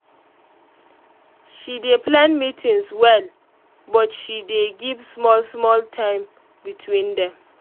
she dey plan meetings well but she dey um give small small time between them